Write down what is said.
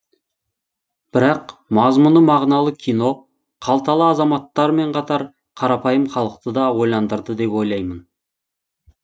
бірақ мазмұны мағыналы кино қалталы азаматтармен қатар қарапайым халықты да ойландырды деп ойлаймын